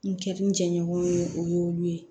N kɛ n jɛɲɔgɔn ye o y'olu ye